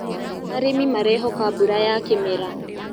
Arĩmĩ marehoka mbũra ya kĩmera